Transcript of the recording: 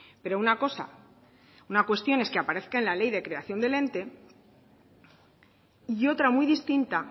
pero una cosa una cuestión es que aparezca en la ley de creación del ente y otra muy distinta